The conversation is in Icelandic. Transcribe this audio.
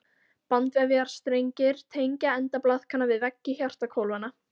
Bandvefjarstrengir tengja enda blaðkanna við veggi hjartahvolfanna.